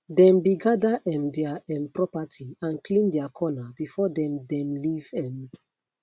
dem be gather um their um property and clean their corner before dem dem leave um